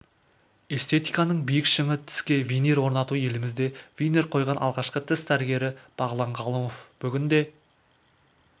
эстетиканың биік шыңы тіске винир орнату елімізде винир қойған алғашқы тіс дәрігері бағлан ғалымов бүгінде